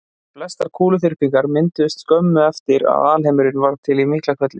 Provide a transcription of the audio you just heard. Flestar kúluþyrpingar mynduðust skömmu eftir að alheimurinn varð til í Miklahvelli.